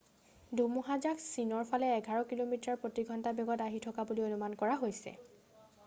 ধুমুহাজাক চীনৰফালে এঘাৰ কিলোমিটাৰ প্ৰতি ঘণ্টা বেগত আহি থকা বুলি অনুমান কৰা হৈছে